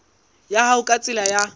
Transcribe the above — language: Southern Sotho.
ya hao ka tsela ya